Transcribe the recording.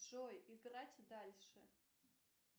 джой играть дальше